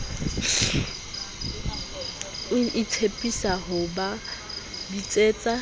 o tshepisa ho ba bitsetsa